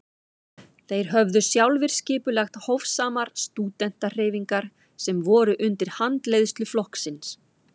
Þeir höfðu sjálfir skipulagt hófsamar stúdentahreyfingar sem voru undir handleiðslu flokksins.